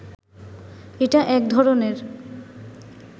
এটা এক ধরনের